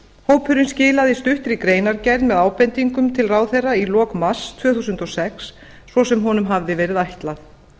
hópurinn skilaði stuttri greinargerð með ábendingum til ráðherra í lok mars tvö þúsund og sex svo sem honum hafði verið ætlað